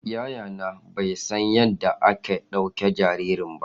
Yayana bai san yadda ake ɗaukan jarirai ba